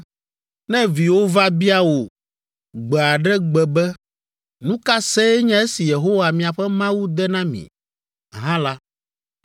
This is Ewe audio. Ne viwò va bia wò gbe aɖe gbe be, “Nu ka see nye esi Yehowa miaƒe Mawu de na mi?” hã la,